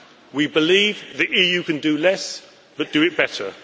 We believe the EU can do less, but do it better.